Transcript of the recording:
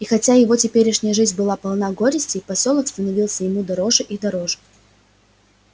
и хотя его теперешняя жизнь была полна горестей посёлок становился ему всё дороже и дороже